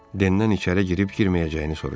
Dendən içəri girib girməyəcəyini soruştu.